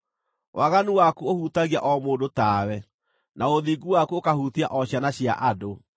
Waganu waku ũhutagia o mũndũ tawe, na ũthingu waku ũkahutia o ciana cia andũ.